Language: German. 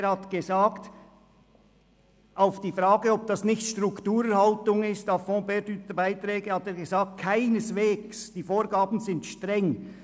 Er antwortete auf die Frage, ob A-fonds-perdu-Beiträge nicht Strukturerhaltung seien: «Keineswegs, die Vorgaben sind streng.